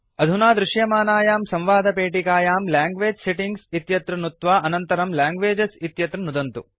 अधुना दृश्यमानायां संवादपेटिकायां लैंग्वेज सेटिंग्स् इत्यत्र नुत्वा अनन्तरं लैंग्वेजेस् इत्यत्र नुदन्तु